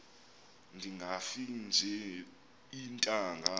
ndingafi nje iintanga